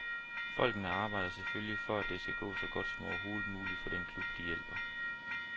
Folkene arbejder selvfølgelig for, at det skal gå så godt som overhovedet muligt for den klub, de hjælper.